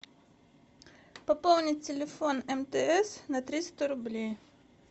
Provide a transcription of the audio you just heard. пополнить телефон мтс на триста рублей